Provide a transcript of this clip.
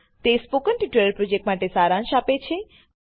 તે spoken tutorial પ્રોજેક્ટનો સારાંશ આપે છે